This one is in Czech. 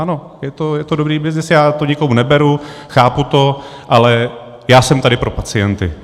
Ano, je to dobrý byznys, já to nikomu neberu, chápu to, ale já jsem tady pro pacienty.